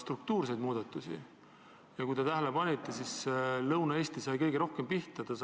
Kui te tähele olete pannud, siis Lõuna-Eesti on kõige rohkem pihta saanud.